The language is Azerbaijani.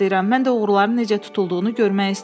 Mən də oğruların necə tutulduğunu görmək istəyirəm.